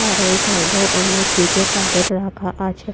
আর ওই সাইড -এও অনেক প্যাকেট রাখা আছে ।